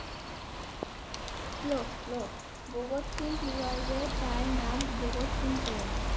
ভগৎ সিং কি ভাবে তার নাম ভগৎ সিং পেলেন?